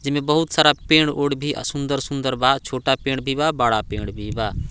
जेमे बहुत सारा पेड़-ओड़ भी आ सुन्दर सुन्दर बा छोटा पेड़ भी बा बड़ा पेड़ भी बा।